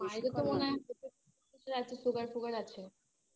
মায়েরও তো মনে হয় Sugar fugar আছে